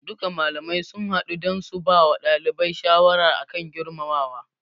Duka malamai sun hadu dan su bawa ɗalibai shawara akan girmamawa